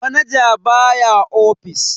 Manaja baya ofis.